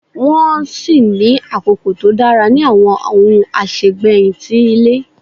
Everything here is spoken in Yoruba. Nwọn si ní akoko to dara ni awọn ohun asegbeyin ti ile.